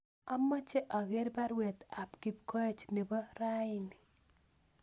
Amoche ager baruet ab Kipkoech nebo raini